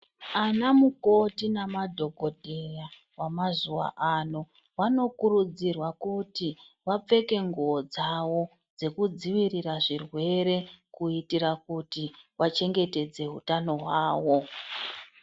Anamukoti namadhokodheya wamazuwa wanokurudzirwa kuti wapfeke nguwo dzawo dzekudzivirira zvirwere kuitira kuti wachengetedze hutano hwawo.